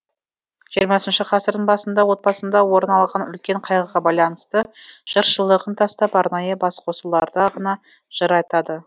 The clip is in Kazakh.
жиырмасыншы ғасырдың басында отбасында орын алған үлкен қайғыға байланысты жыршылығын тастап арнайы басқосуларда ғана жыр айтады